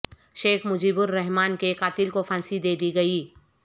شیخ مجیب الرحمان کے قاتل کو پھانسی دے دی گئی